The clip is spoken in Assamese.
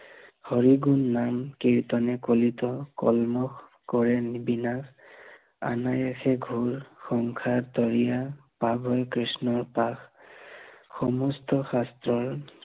হৰি গুণ নাম কীৰ্তনে কলিত কৰিয় কৰে নিবিনাস, অনায়াসে ঘোৰ সংসাৰ তৰিয়া, পাৱন কৃষ্ণৰ পাশ, সমস্ত শাস্ত্ৰৰ হৰিত